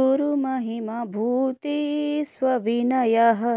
गुरुमहिमभूतेष्वविनयः